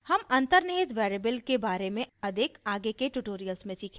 हम अन्तर्निहित variables के बारे में अधिक आगे के ट्यूटोरियल्स में सीखेंगे